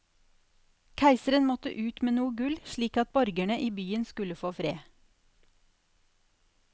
Keiseren måtte ut med noe gull, slik at borgerne i byen skulle få fred.